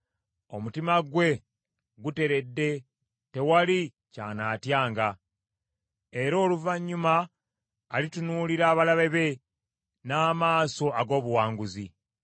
Omutima gwe guteredde, tewali ky’anaatyanga, era oluvannyuma alitunuulira abalabe be n’amaaso ag’obuwanguzi.